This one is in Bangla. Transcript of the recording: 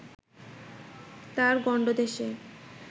তাঁর গণ্ডদেশে